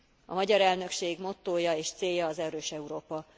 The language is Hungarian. A magyar elnökség mottója és célja az erős Európa.